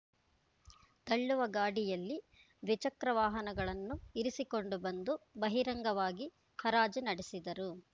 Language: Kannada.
ತಳ್ಳುವ ಗಾಡಿಯಲ್ಲಿ ದ್ವಿಚಕ್ರ ವಾಹನಗಳನ್ನು ಇರಿಸಿಕೊಂಡು ಬಂದು ಬಹಿರಂಗವಾಗಿ ಹರಾಜು ನಡೆಸಿದರು